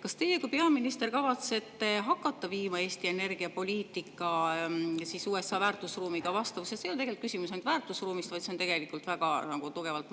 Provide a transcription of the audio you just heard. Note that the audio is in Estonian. Kas teie kui peaminister kavatsete viia Eesti energiapoliitika vastavusse USA väärtusruumiga – see ei ole tegelikult ainult küsimus väärtusruumist, vaid see on väga tugevalt